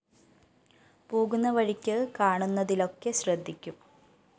പോകുന്ന വഴിക്ക് കാണുന്നതിലൊക്കെ ശ്രദ്ധിക്കും